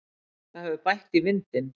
Það hefur bætt í vindinn.